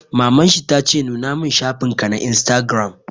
Maman shi ta ce 'Nuna mun shafin ka na Instagram'!